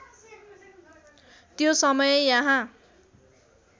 त्यो समय यहाँ